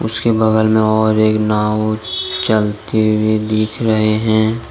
उसके बगल में और एक नाव चलती हुई दिख रहे है।